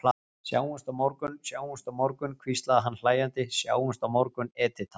Sjáumst á morgun, sjáumst á morgun, hvíslaði hann hlæjandi, sjáumst á morgun, Edita.